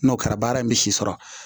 N'o kɛra baara in bɛ si sɔrɔ